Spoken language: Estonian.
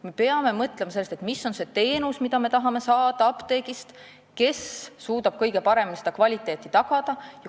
Me peame mõtlema, mis on see teenus, mida me tahame apteegist saada ja kes suudab kõige paremini kvaliteeti tagada.